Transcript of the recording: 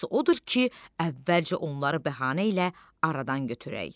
Yaxşısı odur ki, əvvəlcə onları bəhanə ilə aradan götürək.